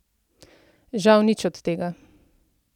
Žal nič od tega!